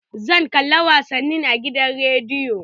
Zan kalla wasanni a gidan rediyo